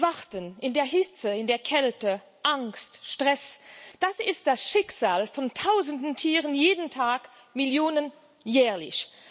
Warten in der Hitze, in der Kälte, Angst, Stress Das ist das Schicksal von Tausenden Tieren jeden Tag Millionen jährlich.